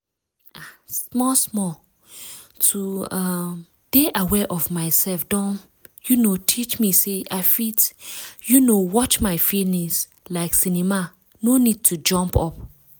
ah. small small to um dey aware of myself don um teach me say i fit um watch my feelings like cinema no need to jump up